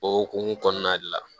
O hukumu kɔnɔna de la